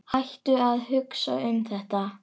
Hættu að hugsa um þetta.